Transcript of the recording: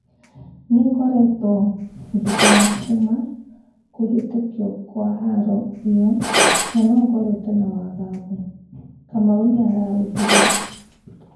"Nĩngoretwo ngĩkena kuma kũhĩtũkio kwa haro ĩyo na no ngoretwo na 'wagagu', Kamau nĩaraugire.